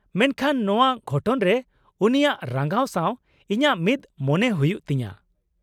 -ᱢᱮᱱᱠᱷᱟᱱ ᱱᱚᱶᱟ ᱜᱷᱚᱴᱚᱱ ᱨᱮ ᱩᱱᱤᱭᱟᱜ ᱨᱟᱸᱜᱟᱣ ᱥᱟᱶ ᱤᱧᱟᱹᱜ ᱢᱤᱫᱽ ᱢᱚᱱᱮᱜ ᱦᱩᱭᱩᱜ ᱛᱤᱧᱟᱹ ᱾